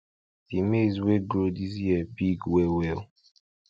de maize wey grow this year big well well